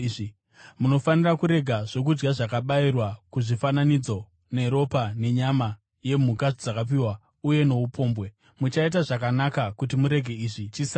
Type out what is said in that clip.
Munofanira kurega zvokudya zvakabayirwa kuzvifananidzo, neropa, nenyama yemhuka dzakadzipwa uye noupombwe. Muchaita zvakanaka kuti murege izvi. Chisarai.